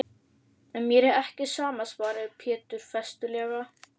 En mér er ekki sama, svaraði Pétur festulega.